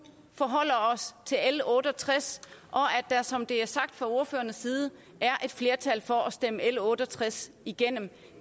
forholder os til l otte og tres og at der som det er sagt fra ordførernes side er et flertal for at stemme l otte og tres igennem